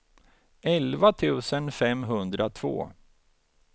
elva tusen femhundratvå